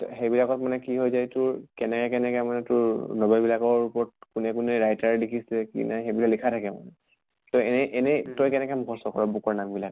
ত সেইবিলাকত মানে কি হৈ যায় তোৰ কেনেকে কেনেকে মানে তোৰ novel বিলাকৰ ওপৰত কোনে কোনে writer লিখিছে কি নাই সেই বিলাক লিখা থাকে মানে। ত এনে এনে তই কেনেকে মুখস্ত কৰʼ book ৰ নাম বিলাক?